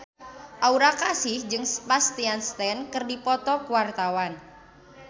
Aura Kasih jeung Sebastian Stan keur dipoto ku wartawan